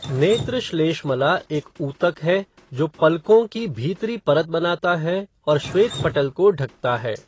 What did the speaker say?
नेत्र श्लेष्मला एक ऊतक है जो पलकों की भीतरी परत बनाता है और श्वेतपटल को ढकता है।